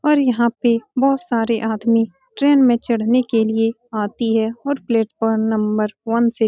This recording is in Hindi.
और यहाँ पे बोहोत सारे आदमी ट्रेन में चढ़ने के लिए आती है और प्लेटफार्म नंबर वन से --